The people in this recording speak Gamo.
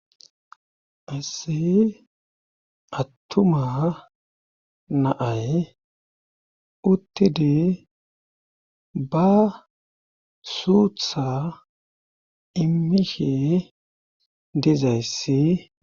Qasse attuma na7ay uttidi ba suutha immishe dizayssi.